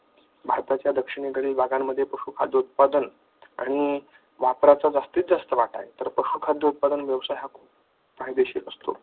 भारतातील दक्षिणेकडील भागांमध्ये पशुखाद्य उत्पादन आणि वापराचा जास्तीत जास्त वाटा तर पशुखाद्य उत्पादन हा खूप फायदेशीर असतो.